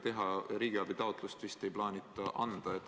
Riigiabi taotlust vist ei plaanita sisse anda.